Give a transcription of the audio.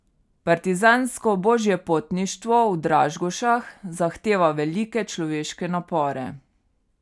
Partizansko božjepotništvo v Dražgošah zahteva velike človeške napore.